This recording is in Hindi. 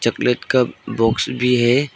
फ्लेट का बाक्स भी है।